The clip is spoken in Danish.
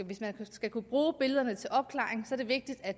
hvis man skal kunne bruge billederne til opklaring er vigtigt at